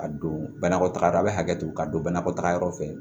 A don banakɔ taga yɔrɔ a bɛ hakɛto ka don banakɔ taga yɔrɔ fɛ